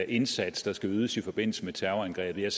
indsats der skal ydes i forbindelse med terrorangrebet jeg